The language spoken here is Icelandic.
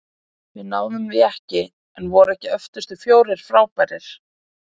Við náðum því ekki- en voru ekki öftustu fjórir frábærir?